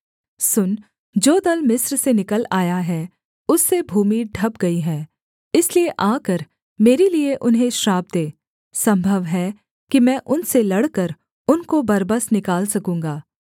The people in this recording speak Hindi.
सुन जो दल मिस्र से निकल आया है उससे भूमि ढँप गई है इसलिए आकर मेरे लिये उन्हें श्राप दे सम्भव है कि मैं उनसे लड़कर उनको बरबस निकाल सकूँगा